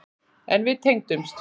En við tengdumst.